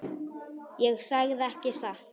Ég sagði ekki satt.